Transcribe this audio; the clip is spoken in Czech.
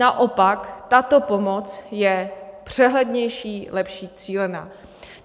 Naopak, tato pomoc je přehlednější, lepší cílená.